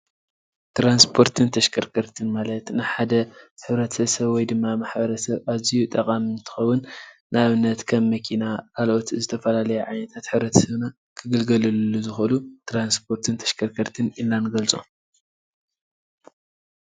ትራንስፖርትን ተሽከርከርቲን ማለት ንሓደ ሕብረተሰብ ወይ ድማ ማሕበረሰብ አዝዩ ጠቃሚ እንትኸውን ንአብነት ከም መኪና ካልኦት ዝተፈላለዩ ዓይነታት ሕብረተሰብና ክግልገልሉ ዝክእል ትራንሰፖርትን ተሽከርከርትን ኢልና ንገልፆ፡፡